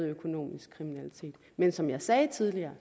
økonomisk kriminalitet men som jeg sagde tidligere